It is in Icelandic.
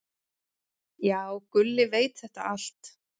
"""Já, Gulli veit þetta allt."""